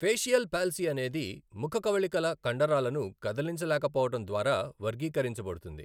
Facial palsy అనేది ముఖ కవళికల కండరాలను కదిలించలేకపోవడం ద్వారా వర్గీకరించబడుతుంది.